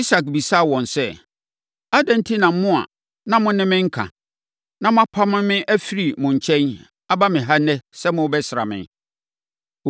Isak bisaa wɔn sɛ, “Adɛn enti na mo a na mo ne me nka, na mopamoo me firii mo nkyɛn aba me ha ɛnnɛ sɛ morebɛsra me?”